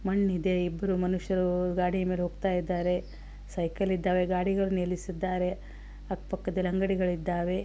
ಮಣ್ಣ್ ಇದೆ ಇಬ್ಬರು ಮನುಷ್ಯರು ಗಾಡಿಮೇಲೆ ಹೋಗ್ತಾಯಿದ್ದರೆ ಸೈಕಲ್ ಇದ್ದವೇ ಗಾಡಿಗಳು ನಿಲ್ಲಿಸಿದ್ದಾರೆ ಅಕ್ಕ ಪಕ್ಕದಲ್ಲಿ ಅಂಗಡಿಗಳು ಇದ್ದವೇ .